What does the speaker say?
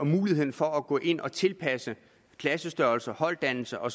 mulighed for at gå ind og tilpasse klassestørrelser holddannelser og